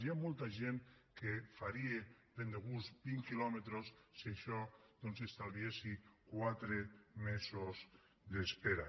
hi ha molta gent que faria ben de gust vint quilòmetres si això doncs li estalviés quatre mesos d’espera